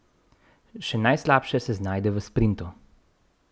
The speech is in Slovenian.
Še najslabše se znajde v sprintu.